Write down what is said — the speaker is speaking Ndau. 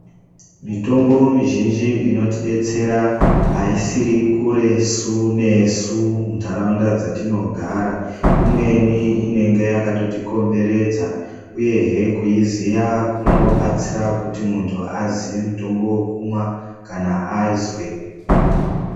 Mitombo mizhinji inotidetsera aisiri kuresu nesu muntaraunda dzatinogara .Imweni inenge yakatikomberedza, uyehe kuiziya kunobatsira kuti muntu aziye mutombo wekumwa, kana azwe....